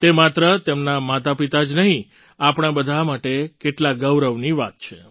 તે માત્ર તેમનાં માતાપિતા જ નહીં આપણા બધા માટે કેટલા ગૌરવની વાત છે